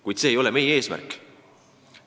Kuid see ei ole meie eesmärk.